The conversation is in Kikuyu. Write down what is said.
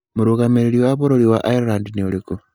Mũrũgamĩrĩri wa bũrũri wa Ireland nĩ ũrĩkũ?